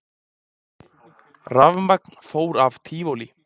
Rafmagn fór af Tívolí